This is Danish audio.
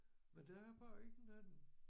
Men der er bare ikke nogen